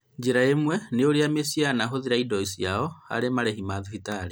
njĩra ĩmwe nĩ ũrĩa mĩciĩ yanahũthĩra indo ciao harĩ marĩhi ma thibitarĩ